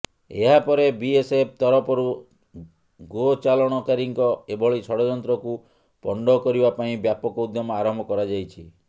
ଏହାପରେ ବିଏସଏଫ ତରଫରୁ ଗୋଚାଲାଣକାରୀଙ୍କ ଏଭଳି ଷଡ଼ଯନ୍ତ୍ରକୁ ପଣ୍ଡ କରିବା ପାଇଁ ବ୍ୟାପକ ଉଦ୍ୟମ ଆରମ୍ଭ କରାଯାଇଛି